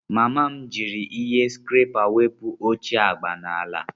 Mama m jiri ihe skrepa wepụ ihe ochie agba n'ala.